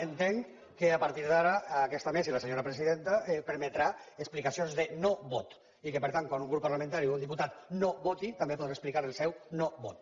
entenc que a partir d’ara aquesta mesa i la senyora presidenta permetran explicacions de no vot i que per tant quan un grup parlamentari o un diputat noseu no vot